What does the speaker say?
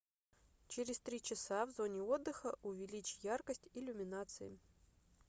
через три часа в зоне отдыха увеличь яркость иллюминации